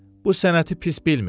Bu sənəti pis bilmirdi.